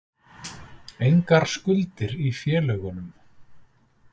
Engar skuldir í félögunum